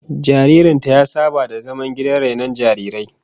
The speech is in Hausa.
Jaririn ta ya saba da zaman gidan rainon jarirai